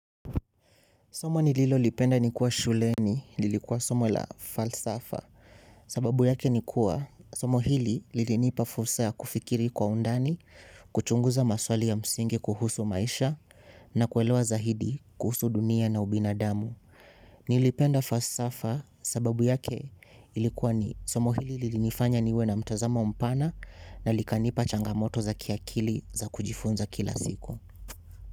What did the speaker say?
Somo nililo lipenda nikiwa shuleni, lilikuwa somo la falsafa, sababu yake ni kuwa somo hili lilinipa fursa ya kufikiri kwa undani, kuchunguza maswali ya msingi kuhusu maisha na kuelewa zaidi kuhusu dunia na ubinadamu. Nilipenda falsafa sababu yake ilikuwa somo hili lilinifanya niwe na mtazamo mpana na likanipa changa moto za kiakili za kujifunza kila siku.